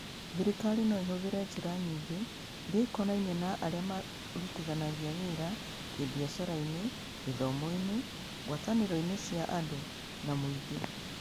Thirikari no ĩhũthĩre njĩra nyingĩ iria ikonainie na arĩa marutithanagia wĩra kĩbiacara-inĩ, gĩthomo-inĩ, ngwatanĩro-inĩ cia andũ, na mũingĩ.